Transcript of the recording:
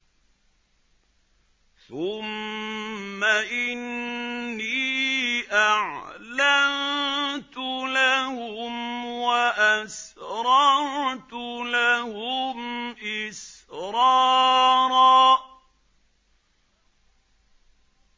ثُمَّ إِنِّي أَعْلَنتُ لَهُمْ وَأَسْرَرْتُ لَهُمْ إِسْرَارًا